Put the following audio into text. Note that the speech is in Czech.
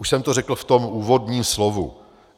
Už jsem to řekl v tom úvodním slově.